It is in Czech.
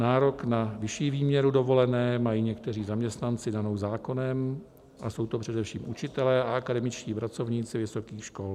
Nárok na vyšší výměru dovolené mají někteří zaměstnanci danou zákonem a jsou to především učitelé a akademičtí pracovníci vysokých škol.